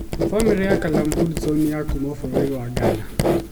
Bamĩrĩ ya Callum Hudson nĩ ya kuuma bũrũri wa Ghana.